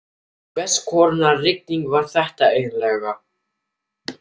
Hvers konar rigning var þetta eiginlega?